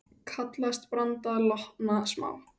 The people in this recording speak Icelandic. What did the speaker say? Kallast branda lonta smá.